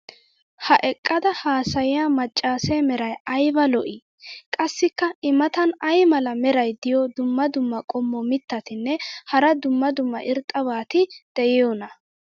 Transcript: ha eqqada haasayiya macaassee meray ayba lo'ii? qassikka i matan ayi mala meray diyo dumma dumma qommo mitattinne hara dumma dumma irxxabati de'iyoonaa?